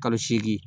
Kalo seegin